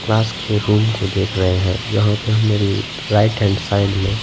class के room को देख रहे हैं जहां पे हमने राइट हैंड साइड में--